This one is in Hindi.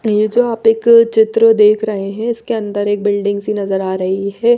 ये जो आप एक चित्र देख रहे हैं इसके अंदर एक बिल्डिंग सी नजर आ रही है।